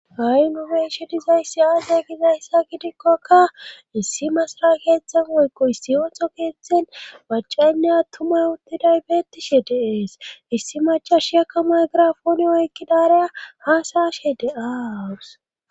Ayu nube ishe dizayssi aazey kizayssa gidikkoka issi masara keetzhthzen woykko issi ootho keeththen macaynne attumay uttiday beettishe deees issi macha shiyakka maygirafoone oykkidareya haasaashe de'awuus.